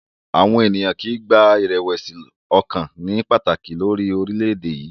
Àwọn ènìyàn kì í gba ìrẹ̀wẹ̀sì ọkàn ní pàtàkì lórí orílẹ̀-èdè yìí.